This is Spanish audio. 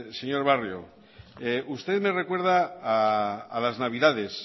señor barrio usted me recuerda a las navidades